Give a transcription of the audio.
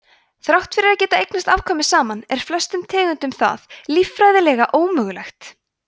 þrátt fyrir að geta eignast afkvæmi saman er flestum tegundum það líffræðilega ómögulegt